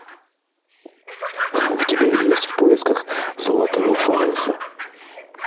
у тебя есть в поисках золотого фаллоса